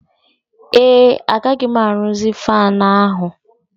Ee, agaghị m arụzi fanụ ahụ.